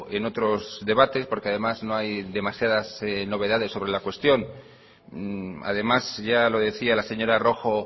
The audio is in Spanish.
en otros debates porque además no hay demasiadas novedades sobre la cuestión además ya lo decía la señora rojo